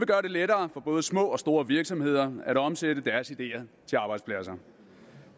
gøre det lettere for både små og store virksomheder at omsætte deres ideer til arbejdspladser